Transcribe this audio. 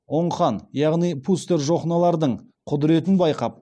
оң хан яғни пустер жохнолардың құдыретін байқап